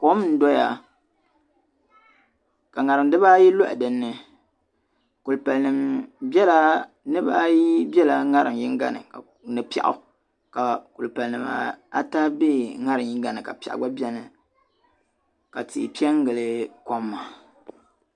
Kom n doya ka ŋariŋ dibayi lɔha din ni kulipalinima niriba bela ŋariŋ yinga ni piɛɣu ka kulipalinima ata be ŋariŋ yinga ni ka piɛɣu gba beni ka tihi pe n gili kom maa